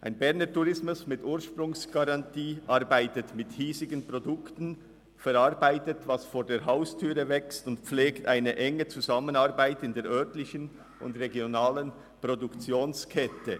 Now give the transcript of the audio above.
Ein Berner Tourismus mit Ursprungsgarantie arbeitet mit hiesigen Produkten, verarbeitet, was vor der Haustüre wächst, und pflegt eine enge Zusammenarbeit mit der örtlichen und regionalen Produktionskette.